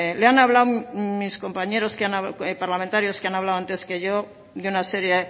le han hablado mis compañeros que han hablado antes que yo de una serie